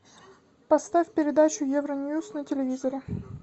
поставь передачу евроньюс на телевизоре